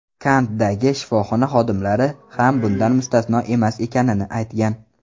Kantdagi shifoxona xodimlari ham bundan mustasno emas ekanini aytgan.